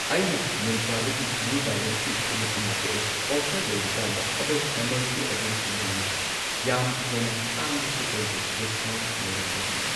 ꯑꯩꯅ ꯃꯤꯟꯇ꯭ꯔꯥꯗꯒꯤ ꯅ꯭ꯌꯨ ꯕꯦꯂꯦꯟꯁꯀꯤ ꯈꯨꯡꯎꯞ ꯑꯃ ꯀꯛꯑꯦ ꯑꯣꯐꯔ ꯂꯩꯔꯤꯀꯥꯟꯗ ꯑꯗꯣ ꯃꯃꯜꯁꯨ ꯑꯗꯨꯝ ꯌꯥꯏꯌꯦ ꯌꯥꯝ ꯍꯦꯟꯅ ꯇꯥꯡꯕꯁꯨ ꯑꯣꯏꯗꯦ ꯗꯤꯁꯀꯥꯎꯟꯠ ꯂꯩꯔꯝꯕꯒꯤꯅꯤ꯫